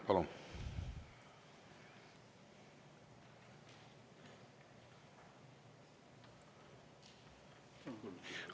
Palun!